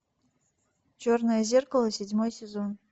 черное зеркало седьмой сезон